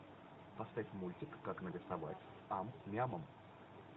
поставь мультик как нарисовать ам няма